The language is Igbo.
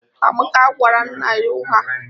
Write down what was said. Amaka gwara nna ya ụgha